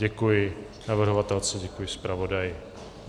Děkuji navrhovatelce, děkuji zpravodaji.